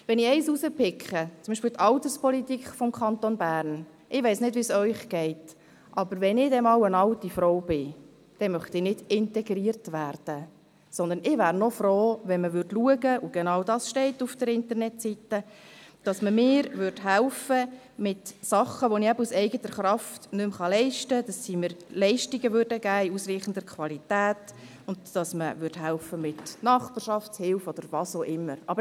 Wenn ich eines herauspicke, zum Beispiel die Alterspolitik des Kantons Bern: Ich weiss nicht, wie es Ihnen geht, aber wenn ich einmal eine alte Frau bin, dann möchte ich nicht integriert werden, sondern ich wäre froh, wenn man schauen – und genau dies steht auf der Internetseite – und mir helfen würde mit Dingen, die ich aus eigener Kraft nicht mehr leisten kann, dass man mir Leistungen in ausreichender Qualität geben und mir mit Nachbarschaftshilfe oder was auch immer helfen würde.